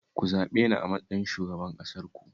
Ku zaɓe ni a matsayin shugaban ƙasarku